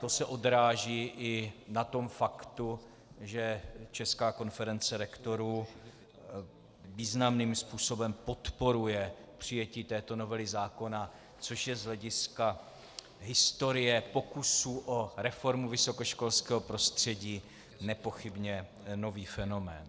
To se odráží i na tom faktu, že Česká konference rektorů významným způsobem podporuje přijetí této novely zákona, což je z hlediska historie pokusů o reformu vysokoškolského prostředí nepochybně nový fenomén.